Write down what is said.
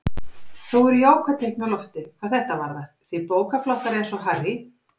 Þó eru jákvæð teikn á lofti hvað þetta varðar því bókaflokkar eins og Harry